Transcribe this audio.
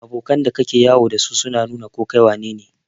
Abokan da ka ke yawo da su na nu na ko kai wanene.